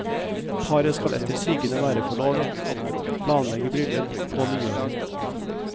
Paret skal etter sigende være forlovet, og planlegger bryllup på nyåret.